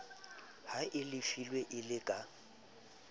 o halefile e le ka